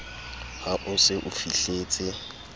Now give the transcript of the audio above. ha o se o fihletse